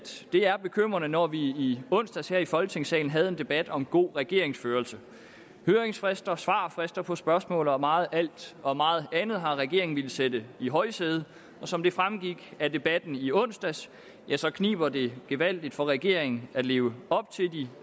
det er bekymrende når vi i onsdags her i folketingssalen havde en debat om god regeringsførelse høringsfrister svarfrister på spørgsmål og meget og meget andet har regeringen villet sætte i højsædet og som det fremgik af debatten i onsdags kniber det gevaldigt for regeringen at leve op til de